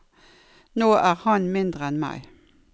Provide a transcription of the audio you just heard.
Nå er han mindre enn meg.